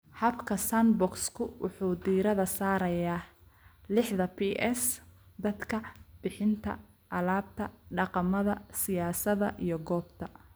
Habka sandbox-ku wuxuu diiradda saarayaa lixdha Ps (dadka, bixinta, alaabta, dhaqamada, siyaasadda, iyo goobta).